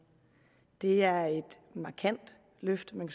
det er et markant løft man